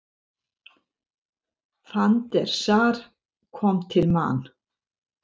Van der Sar kom til Man.